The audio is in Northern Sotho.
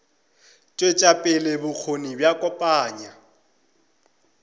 tšwetša pele bokgoni bja kopanya